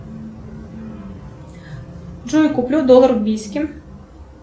джой куплю доллар в бийске